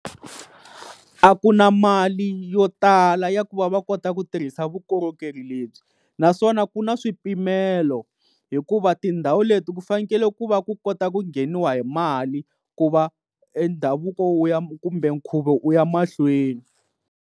A ku na mali yo tala ya ku va va kota ku tirhisa vukorhokeri lebyi naswona ku na swipimelo hikuva tindhawu leti ku fanekele ku va ku kota ku ngheniwa hi mali ku va e ndhavuko wu ya kumbe nkhuvo wu ya mahlweni.